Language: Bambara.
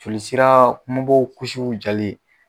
Jolisira kumabaw kusiw jali